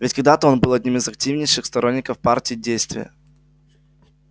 ведь когда-то он был одним из активнейших сторонников партии действия